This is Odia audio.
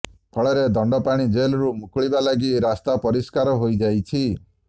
ଫଳରେ ଦଣ୍ଡପାଣି ଜେଲରୁ ମୁକୁଳିବା ଲାଗି ରାସ୍ତା ପରିଷ୍କାର ହୋଇଯାଇଛି